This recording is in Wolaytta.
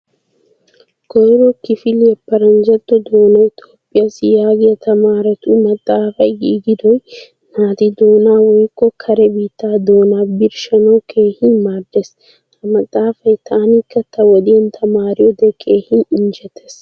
Koyro kifiliyaa paranjjato doonay Toophphiyassi yaagiya tamaaretu maxaafay giigidoy naati doonaa woykko kare biittaa doonaa birshshanawu keehin maaddees. Ha maxaafaay tanikka ta wodiyan tamaariyode keehin injjetees.